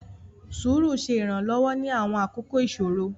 Sùúrù ṣe Iranlọwọ ni awọn akoko iṣoro.